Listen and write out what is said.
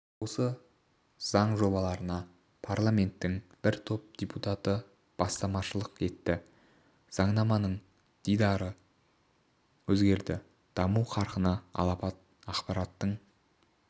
осы заң жобаларына парламенттің бір топ депутаты бастамашылық етті заңнаманың дидары өзгерді даму қарқыны алапат ақпараттың